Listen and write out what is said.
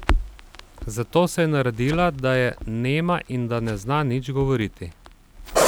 Zato se je naredila, da je nema in da ne zna nič govoriti.